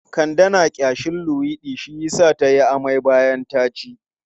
Kande na ƙyashin luwaiɗi shi yasa ta yi amai bayan ta ci.